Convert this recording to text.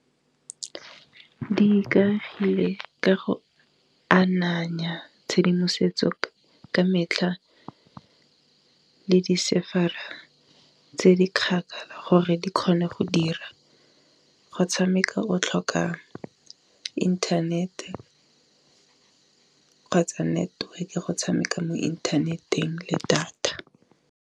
Di ikagile ka go ananya tshedimosetso ka metlha le di server-a tse di kgakala go gore di kgone go dira, go tshameka o tlhoka internet-e ka kgotsa network-e go tshameka mo inthaneteng le data.